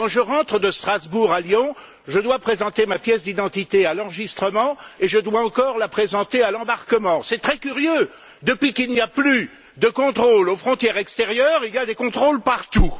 Quand je rentre de Strasbourg à Lyon, je dois présenter ma pièce d'identité à l'enregistrement, et je dois encore la présenter à l'embarquement. C'est très curieux depuis qu'il n'y a plus de contrôles aux frontières extérieures, il y a des contrôles partout.